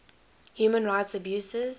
human rights abuses